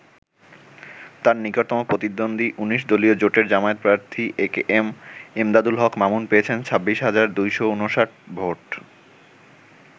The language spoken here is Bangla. তার নিকটতম প্রতিদ্বন্দ্বী ১৯ দলীয় জোটের জামায়াত প্রার্থী একেএম এমদাদুল হক মামুন পেয়েছেন ২৬ হাজার ২৫৯ ভোট।